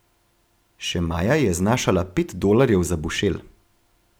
Še maja je znašala pet dolarjev za bušel.